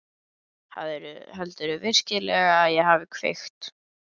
Heldurðu virkilega að ég hafi kveikt í?